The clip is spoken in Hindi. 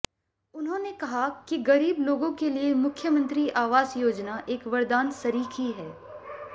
उन्होंने कहा कि गरीब लोगों के लिए मुख्यमंत्री आवास योजना एक वरदान सरीखी है